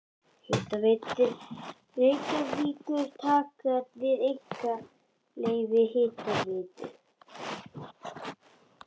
Hitaveita Reykjavíkur taka við einkaleyfi Hitaveitu